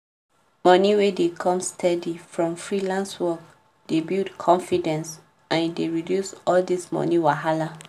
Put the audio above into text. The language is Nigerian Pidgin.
moni wey dey come steady from freelance work dey build confidence and e dey reduce all dis moni wahala